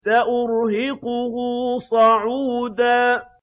سَأُرْهِقُهُ صَعُودًا